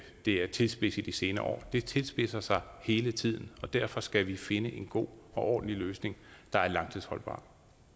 er tilspidset i de senere år det tilspidser sig hele tiden og derfor skal vi finde en god og ordentlig løsning der er langtidsholdbar